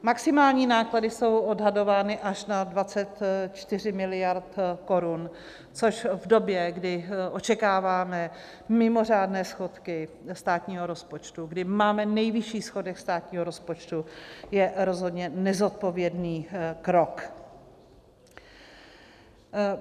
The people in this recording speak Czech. Maximální náklady jsou odhadovány až na 24 miliard korun, což v době, kdy očekáváme mimořádné schodky státního rozpočtu, kdy máme nejvyšší schodek státního rozpočtu, je rozhodně nezodpovědný krok.